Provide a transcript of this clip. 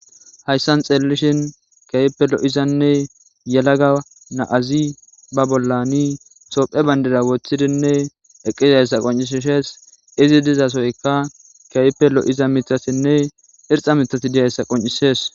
hayssan xeellishin keype lo7izanne yelaga naazi ba bollani sophe bandida woththidinne eqqizayssa qoncisishees izi dizasoyka keype lo7iza mitasinne irxa mitati diyayssa qoncisees